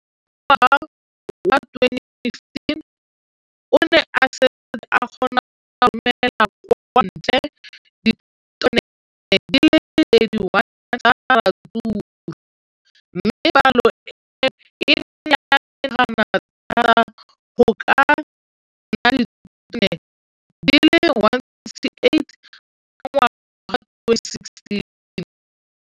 Ka ngwaga wa 2015, o ne a setse a kgona go romela kwa ntle ditone di le 31 tsa ratsuru mme palo eno e ne ya menagana thata go ka nna ditone di le 168 ka ngwaga wa 2016.